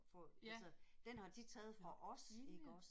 Ja nåh ilde